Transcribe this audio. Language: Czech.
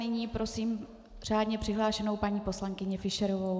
Nyní prosím řádně přihlášenou paní poslankyni Fischerovou.